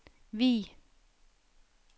Vig